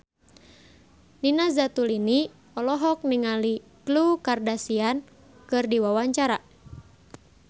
Nina Zatulini olohok ningali Khloe Kardashian keur diwawancara